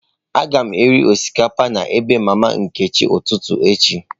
Aga m eri osikapa na ebe mama Nkechi ụtụtụ echi..